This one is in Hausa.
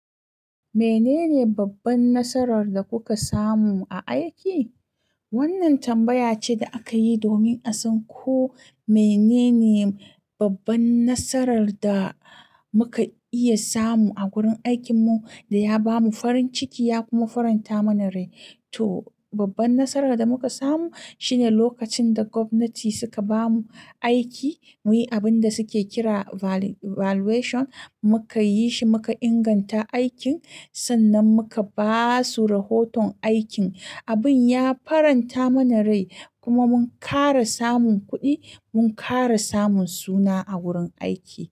Menene babban nasarar da kuka samu a aiki? Wannan tambaya ce da aka yi domin a san ko menene babban nasarar da muka iya samu a gurin aikinmu da ya bamu farin ciki ya kuma faranta mana rai. To babban nasarar da muka samu shine lokacin da gwamnati suka ba mu aiki muyi abin da suke kira valuation muka yi shi muka inganta aikin sannan muka basu rahoton aikin. Abun ya faranta mana rai kuma mun kara samun kuɗi mun kara samun suna a wurin aiki.